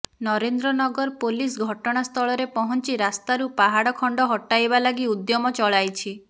Narendra Nagar police ଘଟଣାସ୍ଥଳରେ ପହଞ୍ଚି ରାସ୍ତାରୁ ପାହାଡ ଖଣ୍ଡ ହଟାଇବା ଲାଗି ଉଦ୍ୟମ ଚଳାଇଛି